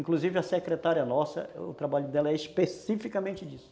Inclusive a secretária nossa, o trabalho dela é especificamente disso.